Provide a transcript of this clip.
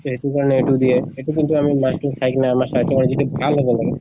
সেইটো কাৰণে এইটো দিয়ে। এইটো কিন্তু আমি মাছ টো খাই কিনে যিটো ভাল হব লাগে